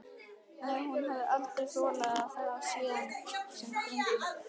Nei, hún hafði aldrei þolað það síðan þetta með drenginn.